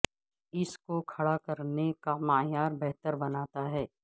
اس کو کھڑا کرنے کا معیار بہتر بناتا ہے